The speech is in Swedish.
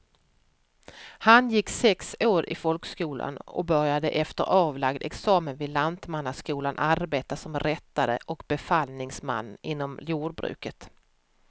Han gick sex år i folkskolan och började efter avlagd examen vid lantmannaskolan arbeta som rättare och befallningsman inom jordbruket.